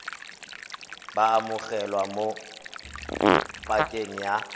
bo amogelwa mo pakeng ya